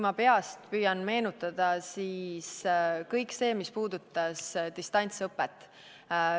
Ma püüan meenutada: kõik see, mis puudutas distantsõpet.